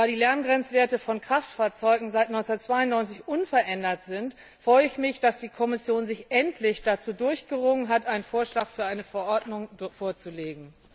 Da die Lärmgrenzwerte von Kraftfahrzeugen seit 1992 unverändert sind, freue ich mich, dass die Kommission sich endlich dazu durchgerungen hat, einen Vorschlag für eine Verordnung vorzulegen.